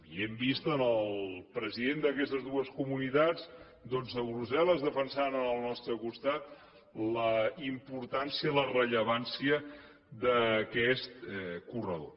i hem vist els presidents d’aquestes dues comunitats doncs a brussel·les defensant al nostre costat la importància la rellevància d’aquest corredor